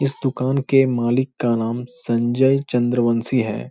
इस दूकान के मालिक का नाम संजय चंद्रवंशी है ।